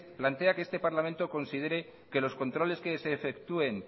plantea que este parlamento considere que los controles que se efectúen